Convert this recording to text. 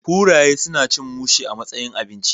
Kuraye suna cin mushe a matsayin abinci